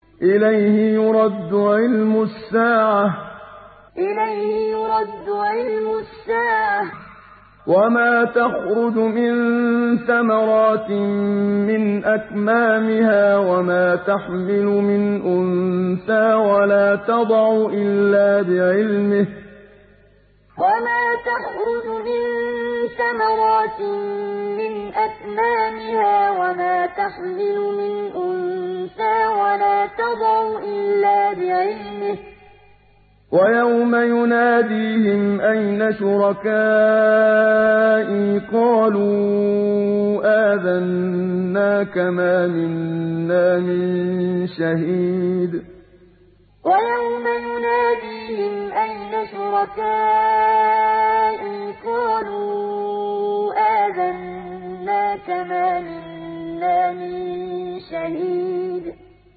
۞ إِلَيْهِ يُرَدُّ عِلْمُ السَّاعَةِ ۚ وَمَا تَخْرُجُ مِن ثَمَرَاتٍ مِّنْ أَكْمَامِهَا وَمَا تَحْمِلُ مِنْ أُنثَىٰ وَلَا تَضَعُ إِلَّا بِعِلْمِهِ ۚ وَيَوْمَ يُنَادِيهِمْ أَيْنَ شُرَكَائِي قَالُوا آذَنَّاكَ مَا مِنَّا مِن شَهِيدٍ ۞ إِلَيْهِ يُرَدُّ عِلْمُ السَّاعَةِ ۚ وَمَا تَخْرُجُ مِن ثَمَرَاتٍ مِّنْ أَكْمَامِهَا وَمَا تَحْمِلُ مِنْ أُنثَىٰ وَلَا تَضَعُ إِلَّا بِعِلْمِهِ ۚ وَيَوْمَ يُنَادِيهِمْ أَيْنَ شُرَكَائِي قَالُوا آذَنَّاكَ مَا مِنَّا مِن شَهِيدٍ